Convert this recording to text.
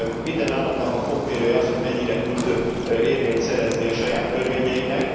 Minden államnak a fokmérője az, hogy mennyire tud érvényt szerezni a saját törvényeinek.